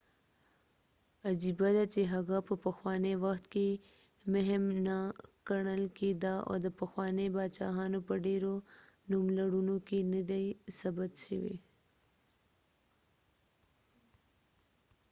عجېبه ده چې هغه په پخوانی وخت کې مهم نه کڼل کېده او د پخوانی باچاهانو په ډیرو نوملړونو کې نه دي ثبت شوي